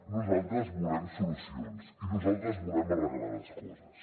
nosaltres volem solucions i nosaltres volem arreglar les coses